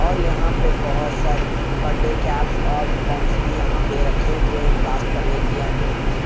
और यहां पे बहुत सारे बडडे कैप्स और बॉम्ब्स भी यहां पे रखे हुए है ब्लास्ट करने के लिए यहां पे नकली --